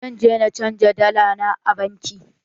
Zan je na canja dala na a banki.